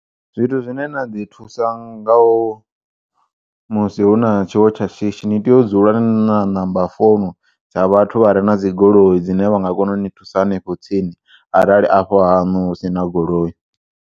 Zwithu zwine na ḓi thusa nga u musi huna tshiwo tsha shishi ni tea u dzula nina ṋamba founu dza vhathu vhane vhare na dzigoloi dzine vha nga kona uni thusa hanefho tsini arali afho ha hanu husina goloi.